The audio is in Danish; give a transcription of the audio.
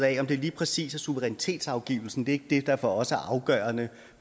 af lige præcis suverænitetsafgivelsen det er ikke det der for os er afgørende